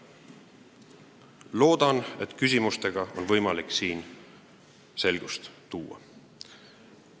Loodan, et küsimustega on võimalik siin selgust tuua.